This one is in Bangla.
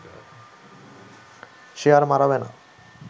সে আর মাড়াবে না